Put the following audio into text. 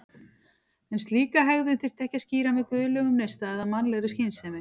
En slíka hegðun þyrfti ekki að skýra með guðlegum neista eða mannlegri skynsemi.